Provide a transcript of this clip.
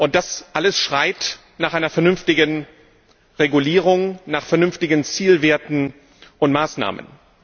Das alles schreit nach einer vernünftigen Regulierung, nach vernünftigen Zielwerten und Maßnahmen.